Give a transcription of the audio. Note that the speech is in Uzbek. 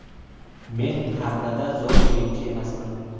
Men qartada zo‘r o‘yinchi emasman.